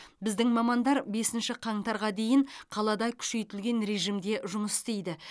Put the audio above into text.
біздің мамандар бесінші қаңтарға дейін қалада күшейтілген режимде жұмыс істейді